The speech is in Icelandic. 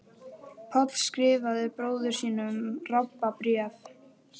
Páll skrifar bróður sínum Rabba bréf.